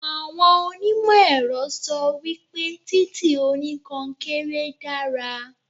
Àwọn oní ìmọ̀ ẹ̀rọ sọ wípé títì oní konkéré dára.